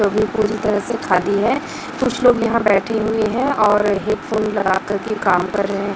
सभी पूरी तरह से खाली है कुछ लोग यहां बैठे हुए है और हेडफोन लगाकर के काम कर रहे--